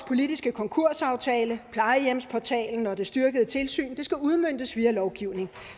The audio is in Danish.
politiske konkursaftale plejehjemsportalen og det styrkede tilsyn skal udmøntes via lovgivning